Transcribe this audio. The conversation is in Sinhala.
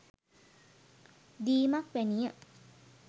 දීමක් වැනි ය.